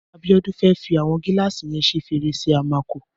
Abiodun fè fi awọn gìlásí yèn ṣé férésé àmákó